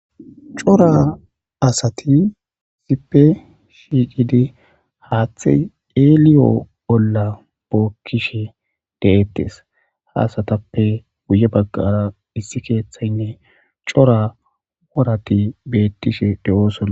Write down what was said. cora asati zipe shiiqidi haaththe eeliyo bolla bookkishe de7ettes haasatappe guye baggara issi keeththaynne cora worati bettishe de7osola